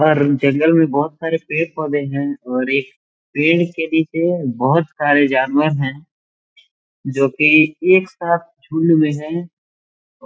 और जंगल में बहोत सारे पेड़-पोधे हैं और पेड़ के नीचे बहोत सारे जानवर हैं जो की एक साथ झुंड में है